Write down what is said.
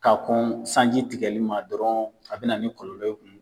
Ka kɔn sanji tigɛli ma dɔrɔn a be na ni kɔlɔlɔ